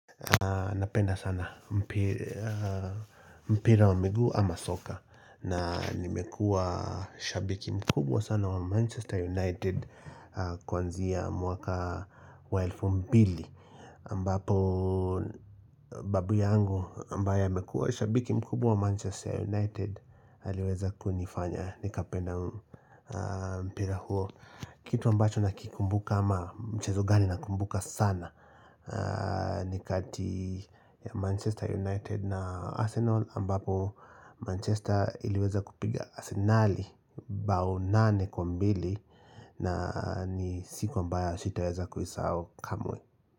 Napenda sana mpira wa migu ama soka na nimekua shabiki mkubwa sana wa Manchester United Kwanzia mwaka wa elfu mbili mbapo babu yangu ambaye amekua shabiki mkubwa wa Manchester United Aliweza kunifanya nikapenda aaaa mpira huo kitu ambacho nakikumbuka ama mchezo gani nakumbuka sana ni kati ya Manchester United na Arsenal ambapo Manchester iliweza kupiga Arsenali bao nane kwa mbili na ni siko mbaya usitaweza kuisao kamwe.